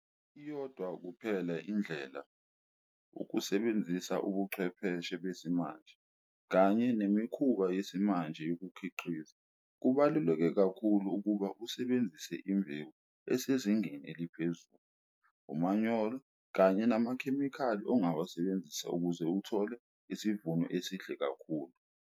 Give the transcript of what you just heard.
Iyodwa kuphela indlela ukusebenzisa ubuchwepheshe besimanje kanye nemikhuba yesimanje yokukhiqiza. Kubaluleke kakhulu ukuba usebenzise imbewu esezingeni eliphezulu, umanyolo kanye namakhemikhali ongawasebenzisa ukuze uthole isivuno esihle kakhulu.